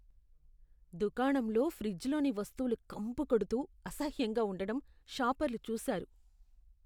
దుకాణంలో ఫ్రిజ్లోని వస్తువులు కంపుకొడుతూ, అసహ్యంగా ఉండటం షాపర్లు చూసారు.